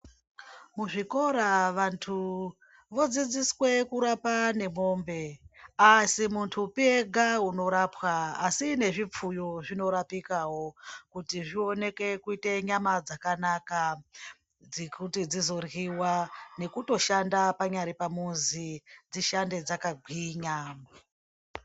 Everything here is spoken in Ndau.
Muzvikora vanthu vodzidziswe kurapa nemwombe aasi munthupi ega unorapwa asi nezvipfuyo zvinorapikawo kuti zvioneke kuite nyama dzakanaka dzekuti dzizoryiwa nekutoshanda panyari pamuzi dzishande dzakagwinya.